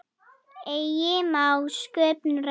Eigi má sköpum renna.